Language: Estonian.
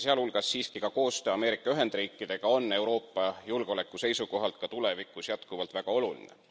Ja sealhulgas siiski ka koostöö Ameerika Ühendriikidega on Euroopa julgeoleku seisukohalt ka tulevikus jätkuvalt väga oluline.